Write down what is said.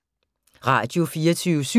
Radio24syv